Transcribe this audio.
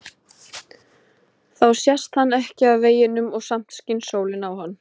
Þá sést hann ekki af veginum og samt skín sólin á hann.